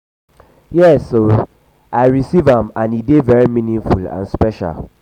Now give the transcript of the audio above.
yes um i receive am and e dey very meaningful and special.